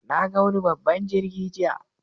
Na ga wani babban jirgi jiya.